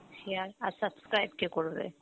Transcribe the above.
share আর subscribe কে করবে?